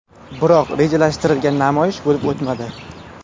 Biroq rejalashtirilgan namoyish bo‘lib o‘tmadi.